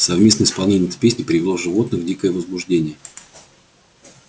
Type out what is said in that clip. совместное исполнение этой песни привело животных в дикое возбуждение